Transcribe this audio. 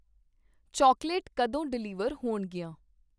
Chocolate ਕਦੋ deliver ਹੋਣਗੀਆਂ ?